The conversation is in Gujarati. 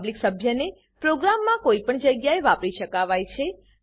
પબ્લિક સભ્યને પ્રોગ્રામમાં કોઈ પણ જગ્યાએ વાપરી શકાવાય છે